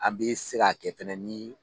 An bɛ se ka kɛ fɛnɛ ni